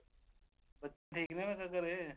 ਬੱਚੇ ਠੀਕ ਨੇ ਮੈਂ ਕਿਹਾ ਤੇਰੇ